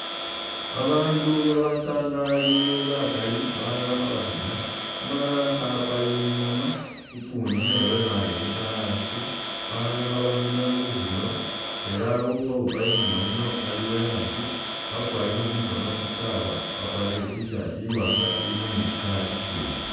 Babandu babasaangalile bakali balala khabakhina umulala kha a'apa i'ngoma ukundi naye wekhaale busa a'asi balala khabakhina bukhino ela ukhowuupa i'ngoma yino ali uwekhaasi wakwalire khumukhoono i'saawa wakwalire i't-shirt i'waanga ilimo ni tsi colour tsitsindi